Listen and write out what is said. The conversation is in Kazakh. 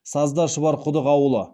сазда шұбарқұдық ауылы